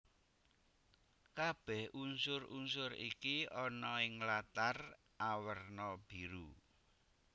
Kabèh unsur unsur iki ana ing latar awerna biru